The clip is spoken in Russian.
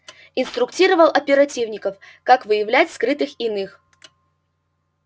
инструктировал оперативников как выявлять скрытых иных